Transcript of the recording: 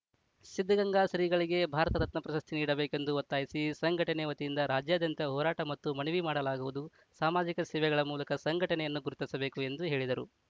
ಸಿದ್ಧಗಂಗಾ ಶ್ರೀಗಳಿಗೆ ಭಾರತ ರತ್ನ ಪ್ರಶಸ್ತಿ ನೀಡಬೇಕೆಂದು ಒತ್ತಾಯಿಸಿ ಸಂಘಟನೆ ವತಿಯಿಂದ ರಾಜ್ಯಾದ್ಯಂತ ಹೋರಾಟ ಮತ್ತು ಮನವಿ ಮಾಡಲಾಗುವುದು ಸಾಮಾಜಿಕ ಸೇವೆಗಳ ಮೂಲಕ ಸಂಘಟನೆಯನ್ನು ಗುರುತಿಸಬೇಕು ಎಂದು ಹೇಳಿದರು